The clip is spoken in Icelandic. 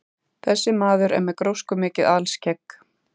Þessi maður er með gróskumikið alskegg.